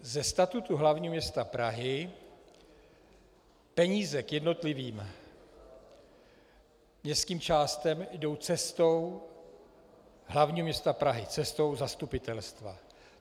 Ze statutu hlavního města Prahy peníze k jednotlivým městským částem jdou cestou hlavního města Prahy, cestou zastupitelstva.